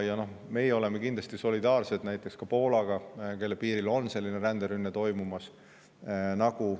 Ja meie oleme kindlasti solidaarsed näiteks Poolaga, kelle piiril selline ränderünne toimub.